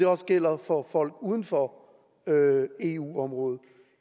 også gælder for folk uden for eu området